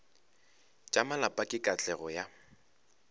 tša malapa le katlego ya